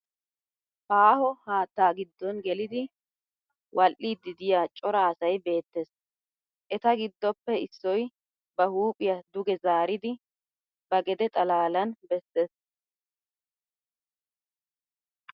Aaho haatta giddon gelidi wal'iiddi diya cora asay beettes. Eta giddoppe issoy ba huuphiya duge zaaridi ba gede xalaalan besses.